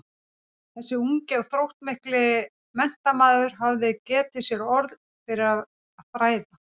Þessi ungi og þróttmikli menntamaður hafði getið sér orð fyrir að fræða